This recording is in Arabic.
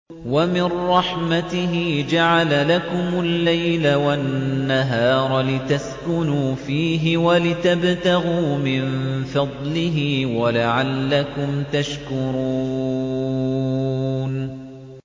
وَمِن رَّحْمَتِهِ جَعَلَ لَكُمُ اللَّيْلَ وَالنَّهَارَ لِتَسْكُنُوا فِيهِ وَلِتَبْتَغُوا مِن فَضْلِهِ وَلَعَلَّكُمْ تَشْكُرُونَ